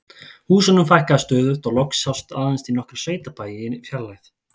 Húsunum fækkaði stöðugt og loks sást aðeins í nokkra sveitabæi í fjarlægð.